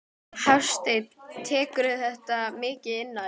Hafsteinn: Tekurðu þetta mikið inn á þig?